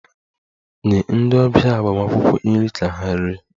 Nye ndị ọbịa agbamakwụkwọ nri ka ha rie!